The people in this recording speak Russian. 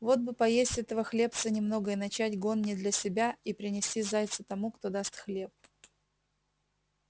вот бы поесть этого хлебца немного и начать гон не для себя и принести зайца тому кто даст хлеб